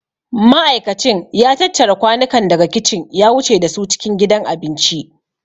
Ma'aikacin ya tattara kwanukan daga kicin ya wuce da su cikin gidan abinci.